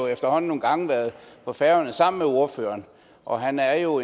efterhånden nogle gange været på færøerne sammen med ordføreren og han er jo